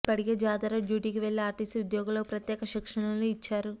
ఇప్పటికే జాతర డ్యూటీకి వెళ్లే ఆర్టీసీ ఉద్యోగులకు ప్రత్యేక శిక్షణలను ఇచ్చారు